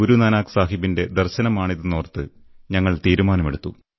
ഗുരുനാനക് സാഹബിന്റെ ദർശനമാണിതെന്നോർത്ത് ഞങ്ങൾ തീരുമാനമെടുത്തു